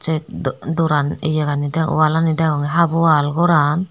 de do doran yegani degongey walani degongey haap wall goran.